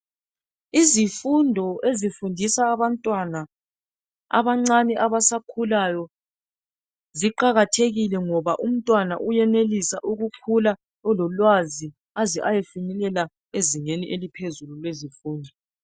Izifundo ezifundiswa abantwana abancane abasakhulayo ziqakathekile ngoba umntwana uyenelisa ukukhula elolwazi aze eyefinyelela ezingeni eliphezulu lwezemfundo